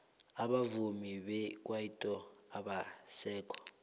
abavumi bekwaito abasekho